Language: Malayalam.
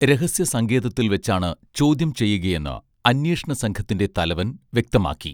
രഹസ്യ സങ്കേതത്തിൽ വെച്ചാണ് ചോദ്യം ചെയ്യുകയെന്ന് അന്വേഷണ സംഘത്തിൻറെ തലവൻ വ്യക്തമാക്കി